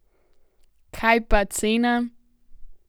Kaj pa cena?